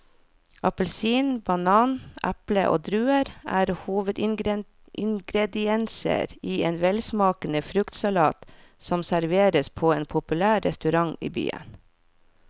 Appelsin, banan, eple og druer er hovedingredienser i en velsmakende fruktsalat som serveres på en populær restaurant i byen.